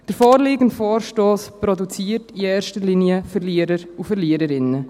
Der vorliegende Vorstoss produziert in erster Linie Verlierer und Verliererinnen.